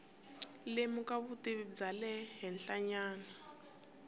lemuka vutivi bya le henhlanyana